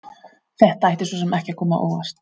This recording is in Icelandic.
Þetta ætti svo sem ekki að koma á óvart.